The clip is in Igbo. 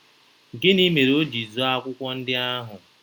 Gịnị mere o ji zoo akwụkwọ ndị ahụ?